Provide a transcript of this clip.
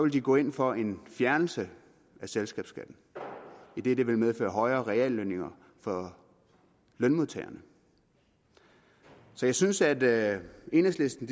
de gå ind for en fjernelse af selskabsskatten idet det vil medføre højere reallønninger for lønmodtagerne så jeg synes at enhedslisten